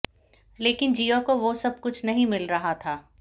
लेकिन जिया को वो सब कुछ नहीं मिल रहा था